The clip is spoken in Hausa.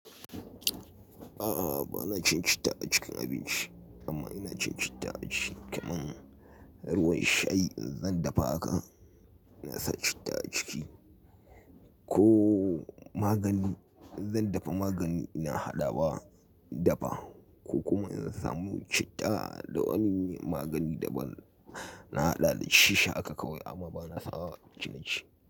A'a, bana cin citta a cikin abinci amma ina cin citta a cikin kamar ruwan shayi in zan dafa haka, inasa citta a ciki. Ko magani, in zan dafa magani ina haɗa ba dafa ko kuma in samu citta da wani magani da ban na haɗa dashi, sha haka kawai amma bana sawa acikin shayi.